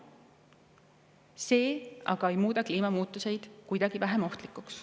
See aga ei muuda kliimamuutuseid kuidagi vähem ohtlikuks.